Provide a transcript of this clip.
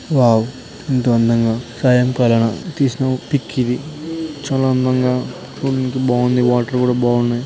Wow ఎంత అందంగా సాయంకాలం తీసిన పిక్ ఇది. చాలా అందంగా ఉంది బాగుంది వాటర్ కూడా బాగున్నాయి.